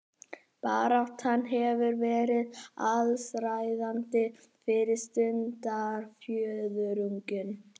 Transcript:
Baráttan hefur verið allsráðandi fyrsta stundarfjórðunginn